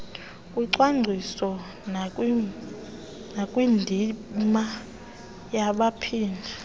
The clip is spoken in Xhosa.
kucwangco nakwindima yabaphathi